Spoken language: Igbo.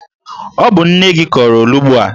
Ọ bụ nne gi kọrọ olughu a?